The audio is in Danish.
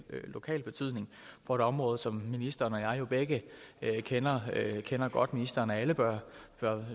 lokal betydning for et område som ministeren og jeg jo begge kender kender godt ministeren af alle bør